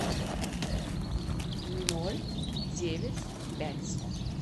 ноль девять пять